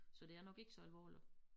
Så det er nok ikke så alvorligt